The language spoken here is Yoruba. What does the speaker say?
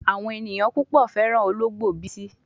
Awon eyan pupo feran ologbo Bisi